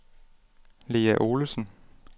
Lea Olesen